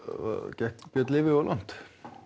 gekk Björn Leví of langt